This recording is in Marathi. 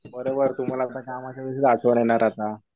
बरोबर. तुम्हाला आता कामाच्या वेळेसच आठवण येणार आता.